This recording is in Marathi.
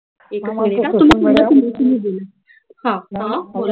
एक मिनिट हां हां बोला बोला तुम्ही तुम्ही तु्म्ही बोला हा बोला